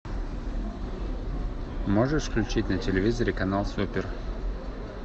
можешь включить на телевизоре канал супер